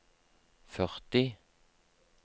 førti